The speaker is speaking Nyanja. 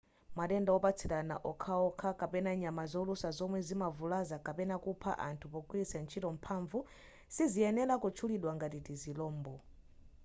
matenda opatsirana okhaokha kapena nyama zolusa zomwe zimavulaza kapena kupha anthu pogwiritsa ntchito mphamvu siziyenera kutchulidwa ngati tizilombo